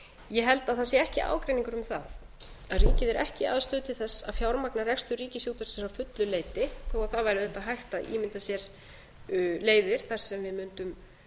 ég held að það sé ekki ágreiningur um það að ríkið er ekki í aðstöðu til þess að fjármagna rekstur ríkisútvarpsins að fullu leyti þó það væri auðvitað hægt að ímynda sér leiðir þar sem við mundum